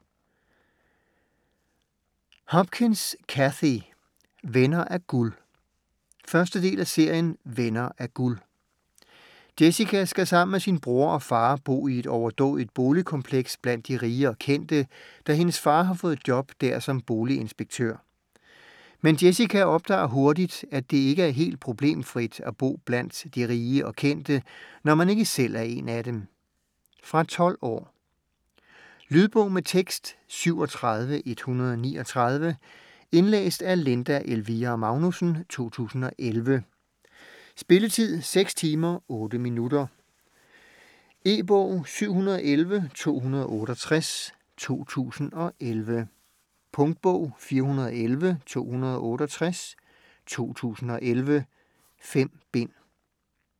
Hopkins, Cathy: Venner af guld 1. del af serien Venner af guld. Jessica skal sammen med sin bror og far bo i et overdådigt boligkompleks blandt de rige og kendte, da hendes far har fået job der som boliginspektør. Men Jessica opdager hurtigt, at det ikke er helt problemfrit at bo blandt de rige og kendte, når man ikke selv er en af dem. Fra 12 år. Lydbog med tekst 37139 Indlæst af Linda Elvira Magnussen, 2011. Spilletid: 6 timer, 8 minutter. E-bog 711268 2011. Punktbog 411268 2011. 5 bind.